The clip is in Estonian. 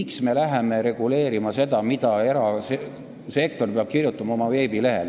Miks me läheme reguleerima seda, mida erasektor peab kirjutama oma veebilehel?